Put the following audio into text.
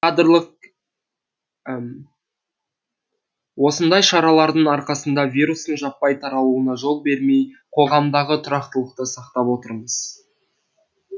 осындай шаралардың арқасында вирустың жаппай таралуына жол бермей қоғамдағы тұрақтылықты сақтап отырмыз